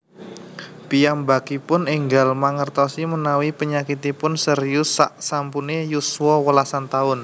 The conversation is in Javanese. Piyambakipun ènggal mangèrtosi mènawi penyakitipun serius saksampunè yuswa wèlasan taun